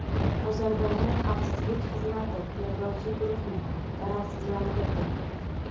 Ozarbayjon xavfsizlik xizmati terrorchi guruhni zararsizlantirdi.